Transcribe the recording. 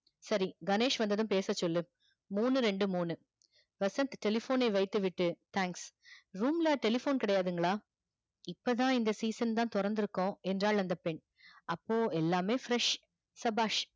சரி கணேஷ் வந்ததும் பேச சொல்லு மூணு ரெண்டு மூணு வசந்த் telephone ன வைத்து விட்டு thanks room ல telephone கிடையாதுங்களா இப்பதா இந் season தா தொறந்து இருக்கோம் என்றால் அந்த பெண் அப்போ எல்லாமே fresh சபாஷ்